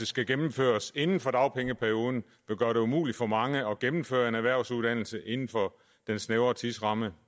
skal gennemføres inden for dagpengeperioden vil gøre det umuligt for mange at gennemføre en erhvervsuddannelse inden for den snævre tidsramme